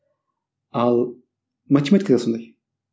ал математика да сондай